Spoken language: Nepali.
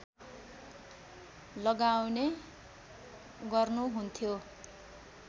लगाउने गर्नुहुन्थ्यो